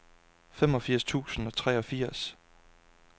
femogfirs tusind og treogfirs